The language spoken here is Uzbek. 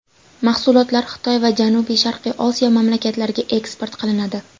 Mahsulotlar Xitoy va Janubi-Sharqiy Osiyo mamlakatlariga eksport qilinadi.